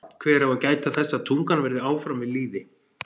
Hver á að gæta þess að tungan verði áfram við lýði?